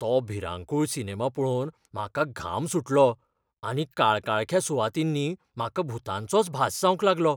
तो भिरांकूळ सिनेमा पळोवन म्हाका घाम सुटलो आनी काळकाळख्या सुवातींनी म्हाका भुतांचोच भास जावंक लागलो.